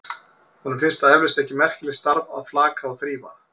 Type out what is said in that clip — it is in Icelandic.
Honum finnst það eflaust ekki merkilegt starf að flaka og þrífa.